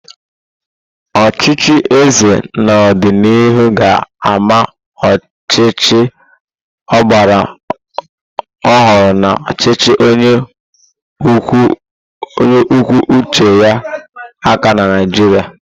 Ọchịchị eze n'ọdịnihu ga-ama ọchịchị ọgbara ọhụrụ na ọchịchị onye kwuo uche ya aka na Naijiria.